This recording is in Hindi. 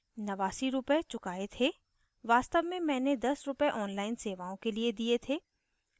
89 नवासी rupees चुकाये थे वास्तव में मैंने 10 रूपए online सेवाओं के लिए दिए थे